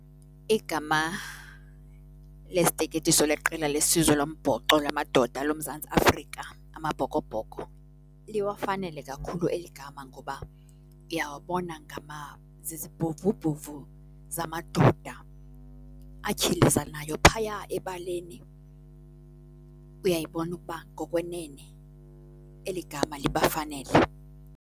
Igama lesiteketiso leqela lesizwe lombhoxo lamadoda loMzantsi Afrika, Amabhokobhoko, liwafanele kakhulu eli gama ngoba ndiyawabona zizibhovubhovu zamadoda atyhilizanayo phaya ebaleni. Uyayibona ukuba ngokwenene eli gama libafanele.